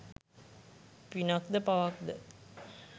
පිනක් ද පවක් ද?